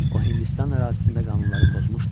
O Hindistan ərazisində qanunları pozmuşdu.